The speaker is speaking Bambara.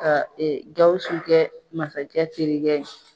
Ka Gawusu kɛ masakɛ terikɛ ye.